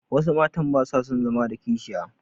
Wasu matan ba su son zama da kishiya.